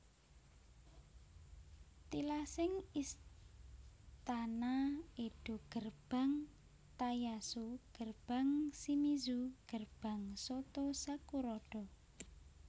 Tilasing Istana Edo Gerbang Tayasu Gerbang Shimizu Gerbang Soto sakurada